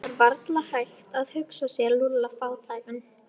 Það var varla hægt að hugsa sér Lúlla fátækan.